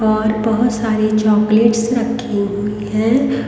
और बहोत सारे चॉकलेट्स रखे हुई हैं।